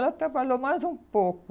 Ela trabalhou mais um pouco.